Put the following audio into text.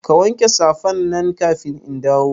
Ka wanke safan nan kafin in dawo